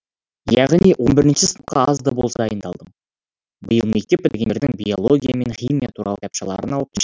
яғни он бірінші сыныпқа азда болса дайындалдым биыл мектеп бітіргендердің биология мен химия туралы кітапшаларын алып